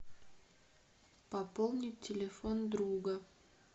пополнить телефон друга